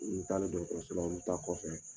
N'i bɛ taala dɔgɔtɔrɔ i bɛ ta kɔfɛ.